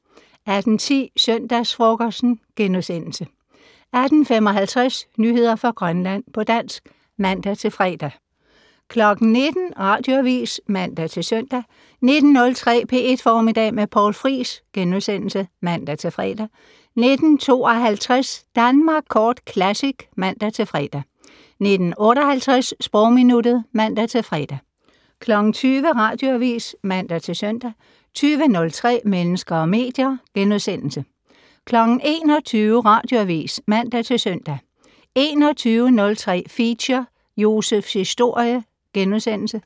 18:10: Søndagsfrokosten * 18:55: Nyheder fra Grønland på dansk (man-fre) 19:00: Radioavis (man-søn) 19:03: P1 Formiddag med Poul Friis *(man-fre) 19:52: Danmark Kort Classic (man-fre) 19:58: Sprogminuttet (man-fre) 20:00: Radioavis (man-søn) 20:03: Mennesker og medier * 21:00: Radioavis (man-søn) 21:03: Feature: Josephs historie *